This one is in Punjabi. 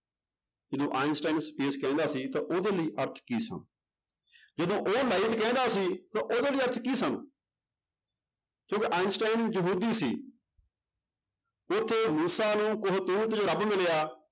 ਜਦੋਂ ਆਇਨਸਟਾਇਨ space ਕਹਿੰਦਾ ਸੀ ਤਾਂ ਉਹਦੇ ਲਈ ਅਰਥ ਕੀ ਸਨ, ਜਦੋਂ ਉਹ light ਕਹਿੰਦਾ ਸੀ ਤਾਂ ਉਹਦੇ ਲਈ ਅਰਥ ਕੀ ਸਨ ਕਿਉਂਕਿ ਆਇਨਸਟਾਇਨ ਯਹੂਦੀ ਸੀ ਮੂਸਾ ਨੂੰ ਉਹ ਰੱਬ ਮਿਲਿਆ